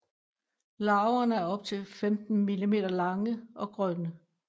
Larverne er op til 15 mm lange og grønne